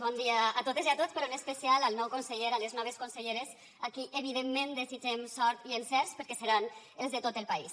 bon dia a totes i a tots però en especial al nou conseller a les noves conselleres a qui evidentment desitgem sort i encerts perquè seran els de tot el país